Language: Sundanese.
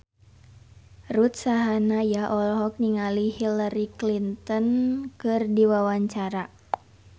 Ruth Sahanaya olohok ningali Hillary Clinton keur diwawancara